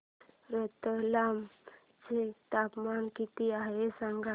आज रतलाम चे तापमान किती आहे सांगा